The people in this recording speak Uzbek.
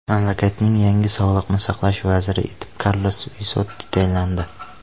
Mamlakatning yangi sog‘liqni saqlash vaziri etib Karlos Vissotti tayinlandi.